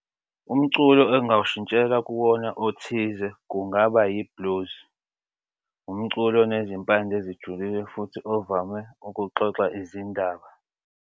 Umculo engingawushintsheka kuwona othize kungaba yi-blues. Umculo onezimpande ezijulile futhi ovame ukuxoxa izindaba.